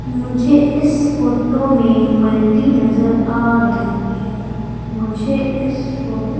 मुझे इस फोटो में मल्टी नजर आ रही हैं मुझे इस फोटो --